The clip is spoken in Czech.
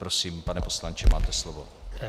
Prosím, pane poslanče, máte slovo.